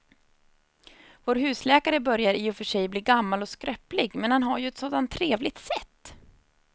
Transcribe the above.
Vår husläkare börjar i och för sig bli gammal och skröplig, men han har ju ett sådant trevligt sätt!